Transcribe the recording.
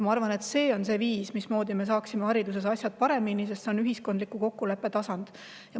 Ma arvan, et see on see viis, mismoodi me saame hariduses asjad paremaks, sest see on ühiskondliku kokkuleppe tasand.